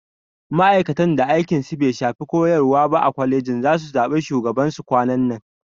Ma'aikatan da aikin su bai shafi koyarwa ba a kwaleji zasu zaɓi shugaban su kwanan nan